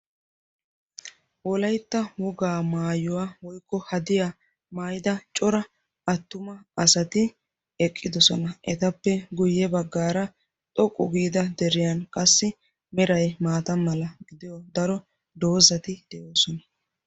wolaytta wogaa maayuwaa woykko hadiya maayida cora attuma asati eqqidosona etappe guyye baggaara xoqqu giida deriyan qassi meray maata mala gidiyo daro doozati de'oosona